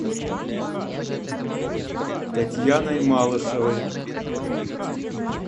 татьяной малышевой